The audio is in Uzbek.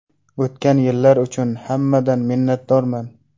O‘tgan yillar uchun hammadan minnatdorman.